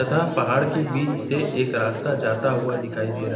तथा पहाड़ के बीच से एक रास्ता जाता हुआ दिखाई दे रहा।